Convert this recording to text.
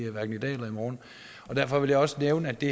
morgen derfor vil jeg også nævne at det